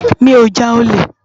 Mi ó já ólé